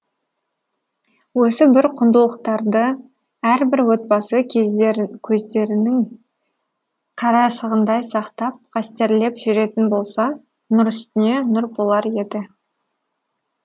осы бір құндылықтарды әрбір отбасы көздерінің қарашығындай сақтап қастерлеп жүретін болса нұр үстіне нұр болар еді